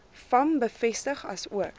vam bevestig asook